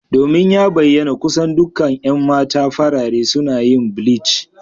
Domin ya bayyana kusan dukkan 'yan mata farare suna yin bleach.